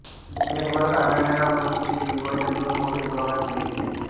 जगभरात आढळणाऱ्या वनस्पतींचे विभाजन दोन मोठ्या विभागात केले गेले आहे